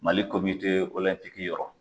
Mali komite olɛnpiki yɔrɔ